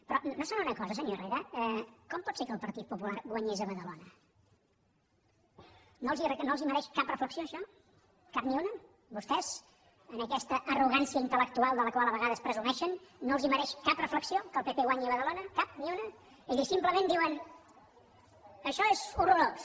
però no s’adonen d’una cosa senyor herrera com pot ser que el partit popular guanyés a badalona no els mereix cap reflexió això cap ni una a vostès amb aquesta arrogància intel·lectual de la qual a vegades presumeixen no els mereix cap reflexió que el pp guanyi a badalona cap ni una és a dir simplement diuen això és horrorós